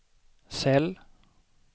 cell